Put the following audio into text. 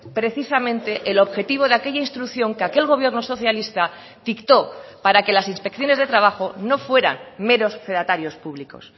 precisamente el objetivo de aquella instrucción que aquel gobierno socialista dictó para que las inspecciones de trabajo no fueran meros fedatarios públicos